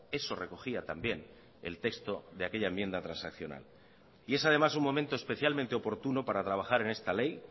eso recogía también el texto de aquella enmienda transaccional y es además un momento especialmente oportuno para trabajar en esta ley